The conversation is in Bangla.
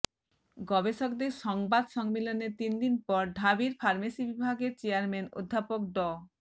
গবেষকদের সংবাদ সম্মেলনের তিনদিন পর ঢাবির ফার্মেসি বিভাগের চেয়ারম্যান অধ্যাপক ড